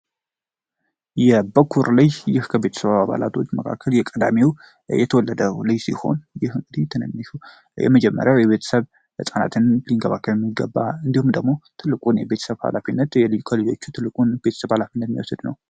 የበኩር ልጅ ይህ ከቤተሰባ አባላቶች መካከል የቀዳሚው የተወለደው ልጅ ሲሆን ይህ እንግዲህ የመጀመሪያው የቤተሰብ እፃናትን ሊንገባከል የሚገባ እንዲሁም ደግሞ ትልቁን የቤተሰብ ሃላፊነት የሊኮ ልጆቹ ትልቁን ቤተሰብ ኃላፊነት ሚያወስድ ነው።